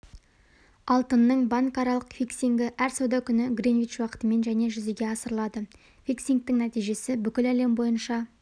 алтынның банкаралық фиксингі әр сауда күні гринвич уақытымен және жүзеге асырылады фиксингтің нәтижесі бүкіл әлем бойынша